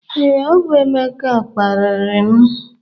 Ee, ọ bụ Emeka kparịrị m